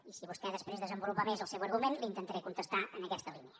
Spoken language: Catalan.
i si vostè després desenvolupa més el seu argument intentaré contestar li en aquesta línia